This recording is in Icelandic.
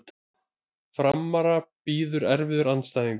Framara bíður erfiður andstæðingur